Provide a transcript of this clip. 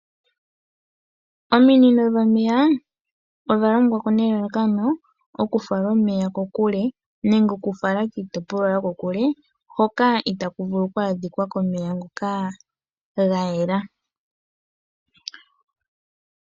Ominino dhomeya odha longwa po nelalakano oku fala omeya kokule nenge oku fala miitopolwa yokokule hoka itaaku vulu oku adhika komeya ngoka ga yela.